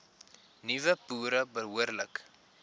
nuwe boere behoorlik